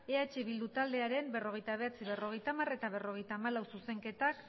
eh bildu taldearen berrogeita bederatzi berrogeita hamar eta berrogeita hamalau zuzenketak